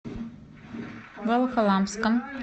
волоколамском